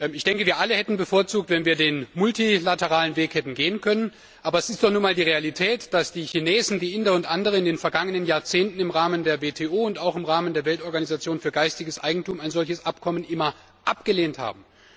Ich denke, wir alle hätten bevorzugt, wenn wir den multilateralen Weg hätten gehen können, aber es ist nun einmal die Realität, dass die Chinesen, die Inder und andere in den vergangenen Jahrzehnten im Rahmen der WTO und auch im Rahmen der Weltorganisation für geistiges Eigentum ein solches Abkommen immer abgelehnt haben.